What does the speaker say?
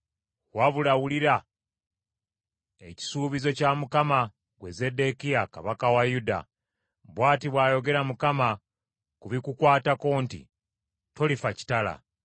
“ ‘Wabula wulira ekisuubizo kya Mukama , ggwe Zeddekiya kabaka wa Yuda. Bw’ati bw’ayogera Mukama ku bikukwatako nti, Tolifa kitala;